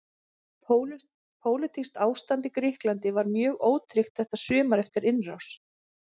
Pólitískt ástand í Grikklandi var mjög ótryggt þetta sumar eftir innrás